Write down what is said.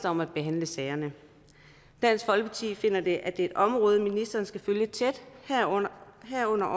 om at behandle sagerne dansk folkeparti finder at det er et område som ministeren skal følge tæt herunder herunder